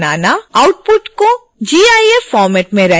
output को gif format में render करना